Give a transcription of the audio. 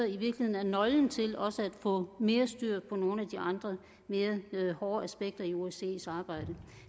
i virkeligheden er nøglen til også at få mere styr på nogle af de andre mere hårde aspekter i osces arbejde